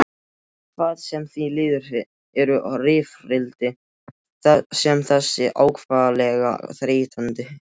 Hvað sem því líður eru rifrildi sem þessi ákaflega þreytandi.